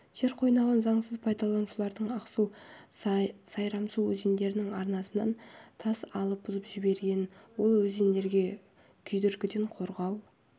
жер қойнауын заңсыз пайдаланушылар ақсу сайрамсу өзендерінің арнасынан тас алып бұзып жіберген ол өзендерге күйдіргіден қорғау